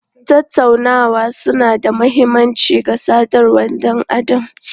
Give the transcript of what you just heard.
Tattaunawa suna da mahimmanci ga sadarwar ɗan adam.